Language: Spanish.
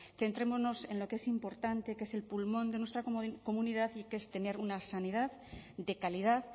centrémonos en lo que es importante que es el pulmón de nuestra comunidad y que es tener una sanidad de calidad